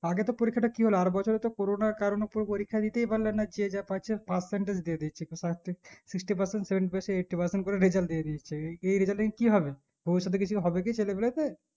আগে তো পরীক্ষা তা কি হলো আর বছর তো corona র কারণে কেও পরীক্ষা দিতেই পারলে না যে যা পারছে Percentage দিয়ে দিচ্ছে sixty percent, seventy percent, eighty percent করে result দিয়ে দিচ্ছে এই result নিয়ে কি হবে, ভবিষতে কিছু হবে কি ছেলেপিলে দের